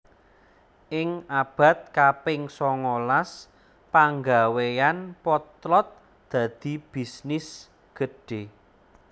Ing abad kaping songolas panggawéyan potlot dadi bisnis gedhe